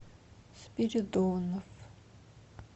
спиридонов